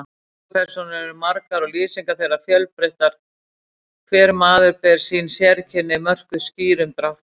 Sögupersónur eru margar og lýsingar þeirra fjölbreyttar, hver maður ber sín sérkenni, mörkuð skýrum dráttum.